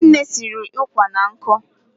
Nne nne siri ụkwà na nkụ.